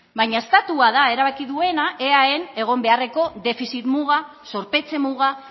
bina estatua da erabaki duena eaen egon beharreko defizit muga zorpetze muga